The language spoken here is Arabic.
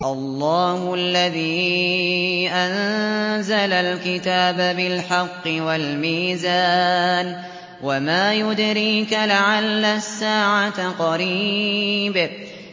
اللَّهُ الَّذِي أَنزَلَ الْكِتَابَ بِالْحَقِّ وَالْمِيزَانَ ۗ وَمَا يُدْرِيكَ لَعَلَّ السَّاعَةَ قَرِيبٌ